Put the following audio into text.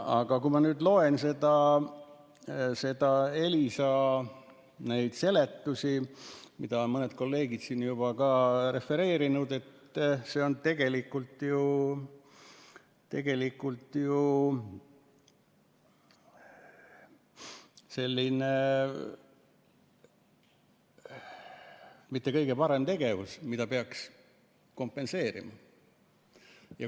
Aga kui ma nüüd loen Elisa seletusi, mida mõned kolleegid siin juba ka on refereerinud, siis see on tegelikult ju tegelikult ju selline mitte kõige parem tegevus, mida peaks kompenseerima.